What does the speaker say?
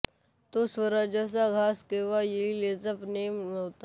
तो स्वराज्याचा घास केव्हा येईल याचा नेम नव्हता